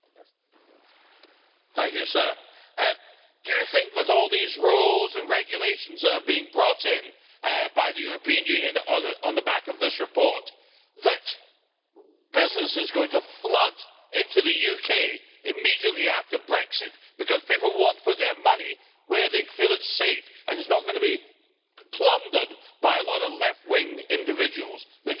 Do you think with all these rules and regulations that are being brought in by the European Union on the back of this report that business is going to flood into the UK immediately after Brexit because people want to put their money where they feel it is safe and is not going to be plundered by a lot of left wing individuals who just want to destroy businesses and create a Communist